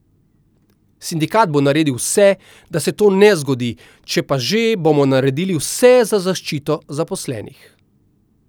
Sindikat bo naredil vse, da se to ne zgodi, če pa že, bomo naredili vse za zaščito zaposlenih.